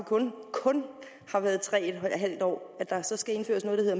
på kun tre en halv år at der så skal indføres